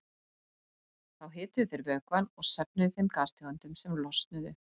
Þá hituðu þeir vökvann og söfnuðu þeim gastegundum sem losnuðu.